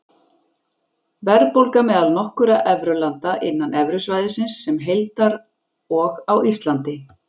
Verðbólga meðal nokkurra evrulanda, innan evrusvæðisins sem heildar og á Íslandi.